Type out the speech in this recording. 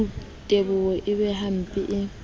teboho e be hempe e